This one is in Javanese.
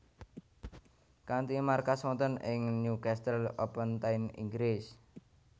Kanthi markas wonten ing Newcastle upon Tyne Inggris